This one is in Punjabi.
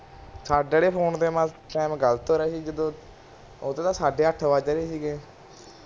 ਸਾਡੇ ਆਲੇ ਫੋਨ ਤੇ ਟੀਮ ਗ਼ਲਤ ਹੋ ਰਿਆ ਸੀ ਉਦੇ ਤੇ ਸਾਡੇ ਅੱਠ ਵੱਜ ਰਹੇ ਸੀ